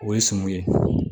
O ye sɔmi ye